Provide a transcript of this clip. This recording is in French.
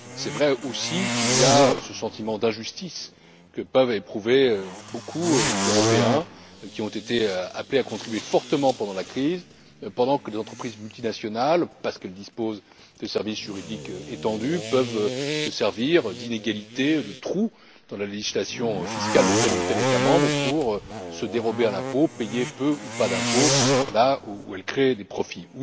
Il est vrai aussi qu'il y a ce sentiment d'injustice que peuvent éprouver beaucoup d'Européens qui ont été appelés à contribuer fortement pendant la crise, pendant que des entreprises multinationales, parce qu'elles disposent de services juridiques étendus, peuvent se servir d'inégalités, de trous, dans la législation fiscale de tel ou tel État membre pour se dérober à l'impôt, payer peu ou pas d'impôts, là où elles créent des profits.